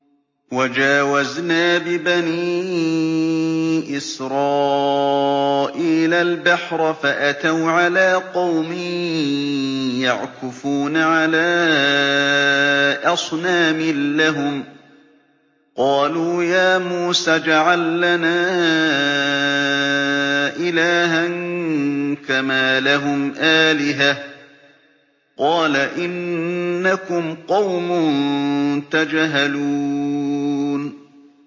وَجَاوَزْنَا بِبَنِي إِسْرَائِيلَ الْبَحْرَ فَأَتَوْا عَلَىٰ قَوْمٍ يَعْكُفُونَ عَلَىٰ أَصْنَامٍ لَّهُمْ ۚ قَالُوا يَا مُوسَى اجْعَل لَّنَا إِلَٰهًا كَمَا لَهُمْ آلِهَةٌ ۚ قَالَ إِنَّكُمْ قَوْمٌ تَجْهَلُونَ